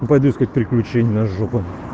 пойду искать приключений на жопу